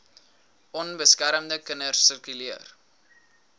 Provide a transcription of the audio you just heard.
onbeskermde kinders sirkuleer